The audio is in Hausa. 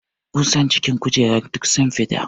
Ƙusan jikin kujerar duk sun fita.